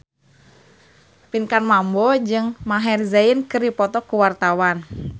Pinkan Mambo jeung Maher Zein keur dipoto ku wartawan